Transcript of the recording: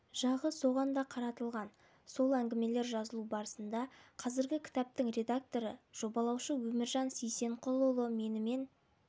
жағы соған да қаратылған сол әңгімелер жазылу барысында қазіргі кітаптың редакторы жобалаушысы өміржан сейсенқұлұлы менімен